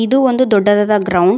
ಇದು ಒಂದು ದೊಡ್ಡದಾದ ಗ್ರೌಂಡ್ .